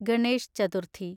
Ganesh Chaturthi